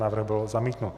Návrh byl zamítnut.